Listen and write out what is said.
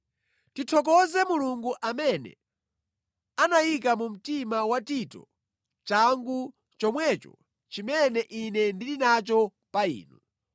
Tithokoze Mulungu amene anayika mu mtima wa Tito changu chomwecho chimene ine ndili nacho pa inu.